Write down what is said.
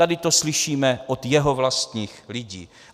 Tady to slyšíme od jeho vlastních lidí.